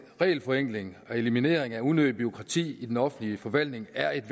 regelforenklinger og elimineringen af unødigt bureaukrati i den offentlige forvaltning er et